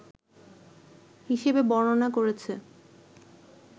হিসেবে বর্ণনা করেছে